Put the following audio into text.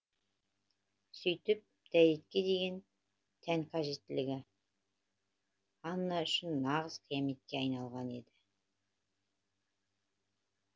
сүйтіп дәретке деген тән қажеттілігі анна үшін нағыз қияметке айналған еді